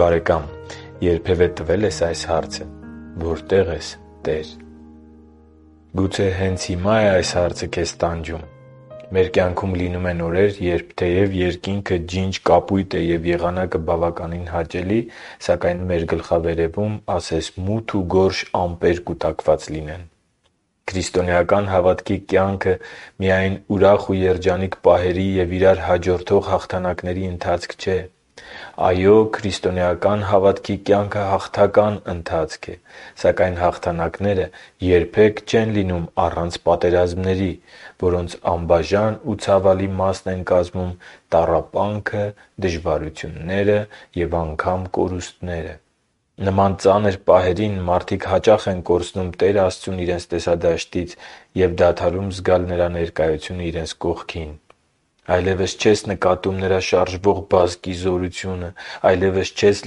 բարեկամ, երբևէ տվե՞լ ես այս հարցը, «Որտե՞ղ ես, Տեր»։ Գուցե հենց հիմա՞ է այս հարցը քեզ տանջում։ Մեր կյանքում լինում են օրեր, երբ թեև երկինքը ջինջ կապույտ է և եղանակը բավականին հաճելի, սակայն մեր գլխավերևում ասես մութ ու գորշ ամպեր կուտակված լինեն։ Քրիստոնեական հավատքի կյանքը միայն ուրախ ու երջանիկ պահերի և իրար հաջորդող հաղթանակների ընթացք չէ։ Այո, քրիստոնեական հավատքի կյանքը հաղթական ընթացք է։ Սակայն հաղթանակները երբե՛ք չեն լինում առանց պատերազմների, որոնց անբաժան ու ցավալի մասն են տառապանքը, դժվարությունները և անգամ կորուստները։ Նման ծանր պահերին մարդիկ հաճախ են կորցնում Տեր Աստծուն իրենց տեսադաշտից և դադարում զգալ Նրա ներկայությունը իրենց կողքին։ Այլևս չես նկատում Նրա շարժվող բազկի զորությունը։ Այլևս չես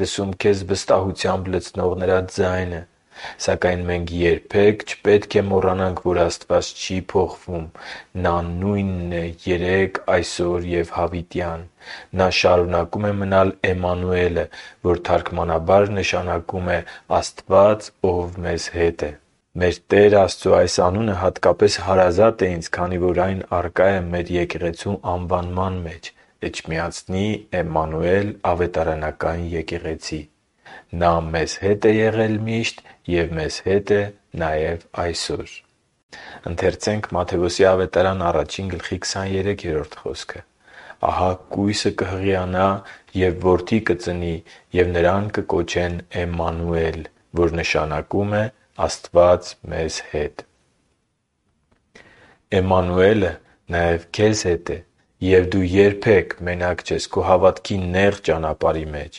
լսում քեզ վստահությամբ լցնող Նրա ձայնը։ Սակայն մենք երբե՛ք չպետք է մոռանանք, որ Աստված չի՛ փոխվում։ Նա նույնն է երեկ, այսօր և հավիտյան։ Նա շարունակում է մնալ Էմմանուելը, որ թարգմանաբար նշանակում է Աստված, Ով մեզ հետ է։ Մեր Տեր Աստծո այս անունը հատկապես հարազատ է ինձ, քանի որ այն ներկա է մեր եկեղեցու անվանման մեջ՝ Էջմիածնի Էմմանուել ավետարանական եկեղեցի։ Նա մեզ հետ է եղել միշտ և մեզ հետ է նաև այսօր։ Ընթերցե՛նք Մատթեոս 1․23 խոսքը․ «Ահա կույսը կհղիանա և որդի կծնի, և նրան կկոչեն Էմմանուել», որ նշանակում է «Աստված մեզ հետ»։ էմմանուելը նաև քեզ հետ է, և դու երբե՛ք մենակ չես քո հավատքի նեղ ճանապարհի մեջ։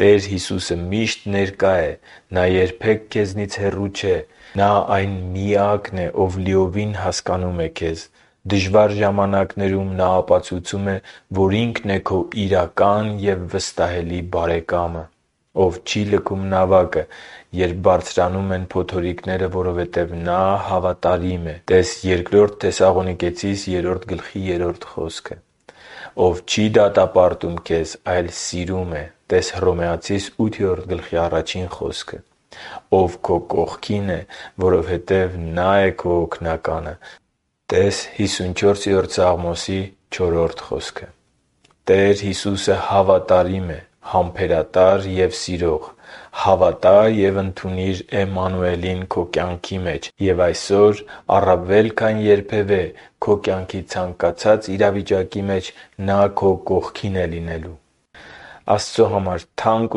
Տեր Հիսուսը մի՛շտ ներկա է։ Նա երբե՛ք քեզնից հեռու չէ։ Նա այն Միակն է, Ով լիովին հասկանում է քեզ։ Դժվար ժամանակներում Նա ապացուցում է, որ Ինքն է քո իրական ու վստահելի բարեկամը… Ով չի լքում նավակը, երբ բարձրանում են փոթորիկները, որովհետև Նա հավատարիմ է։ (Տե՛ս Բ Թեսաղոնիկեցիս 3․3 խոսքը)։ Ով չի դատապարտում քեզ, այլ սիրում է։ (Տե՛ս Հռոմեացիս 8․1 խոսքը)։ Ով քո կողքին է, որովհետև Նա է քո Օգնականը։ (Տե՛ս Սաղմոս 54․4 խոսքը)։ Տեր Հիսուսը հավատարիմ է, համբերատար և սիրող։ Հավատա՛ և ընդունի՛ր Էմմանուելին քո կյանքի մեջ, և այսօր, առավել քան երբևէ, քո կյանքի ցանկացած իրավիճակի մեջ Նա քո կողքին է լինելու։ Աստծո համար թանկ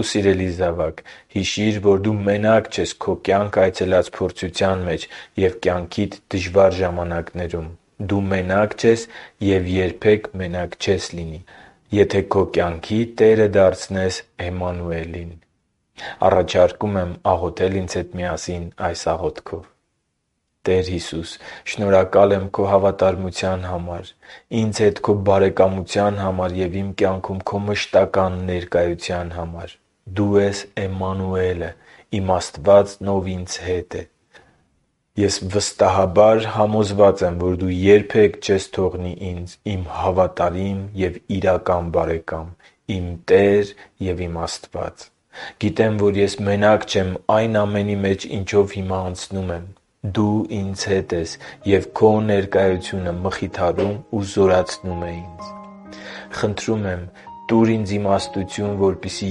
ու սիրելի զավա՛կ, հիշի՛ր, որ դու մենակ չես քո կյանք այցելած փորձության մեջ և կյանքիդ դժվարին ժամանակներում։ Դու մենակ չես և երբե՛ք մենակ չես լինի, եթե քո կյանքի Տերը դարձնես Էմմանուելին։ Առաջարկում եմ աղոթել ինձ հետ միասին այս աղոթքով. «Տե՛ր Հիսուս, շնորհակալ եմ Քո հավատարմության համար, ինձ հետ Քո բարեկամության համար և իմ կյանքում Քո մշտական ներկայության համար։ Դու ես Էմմանուելը՝ իմ Աստվածն, Ով ինձ հետ է։ Ես վստահաբար համոզված եմ, որ Դու երբե՛ք չես թողնի ինձ, իմ հավատարիմ և իրական բարեկամ, իմ Տեր և իմ Աստված։ Գիտեմ, որ ես մենակ չեմ այն ամենի մեջ, ինչով հիմա անցնում եմ… Դու ինձ հետ ես, և Քո ներկայությունը մխիթարում ու զորացնում է ինձ։ Խնդրում եմ՝ տուր ինձ իմաստություն, որպեսզի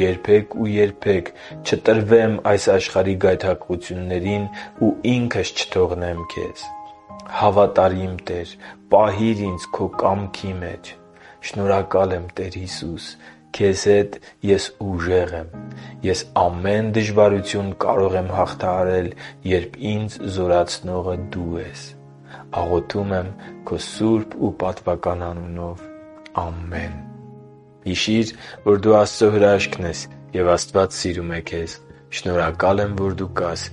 երբե՛ք ու երբե՛ք չտրվեմ այս աշխարհի գայթակղություններին ու ինքս չթողնեմ քեզ։ Հավատարիմ Տե՛ր, պահիր ինձ Քո կամքի մեջ։ Շնորհակալ եմ, Տեր Հիսուս… Քեզ հետ ես ուժեղ եմ։ Ես ամեն դժվարություն կարող եմ հաղթահարել, երբ ինձ զորացնողը Դու ես։ Աղոթում են Քո սուրբ ու պատվական անունով։ Ամե՛ն»։ Հիշի՛ր, որ դու Աստծո հրաշքն ես, և Աստված սիրում է քեզ։ Շնորհակալ եմ, որ դու կա՛ս